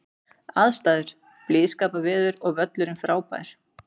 Aðstæður: Blíðskaparveður og völlurinn frábær.